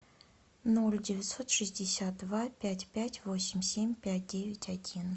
ноль девятьсот шестьдесят два пять пять восемь семь пять девять один